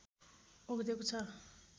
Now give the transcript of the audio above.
ओगटेको छ